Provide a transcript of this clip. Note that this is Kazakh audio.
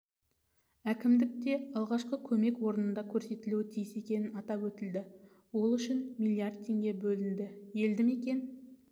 әкімдікте алғашқы көмек орнында көрсетілуі тиіс екені атап өтілді ол үшін миллиард теңге бөлінді елді мекен